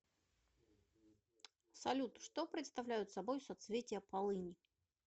салют что представляют собой соцветия полыни